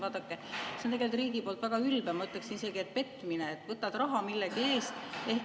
Vaadake, see on tegelikult riigi poolt väga ülbe, ma ütleksin isegi, et petmine, et võtad raha millegi eest …